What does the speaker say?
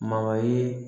Magayi